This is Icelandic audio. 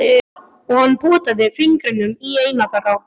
Og hann potaði fingrinum í eina þeirra.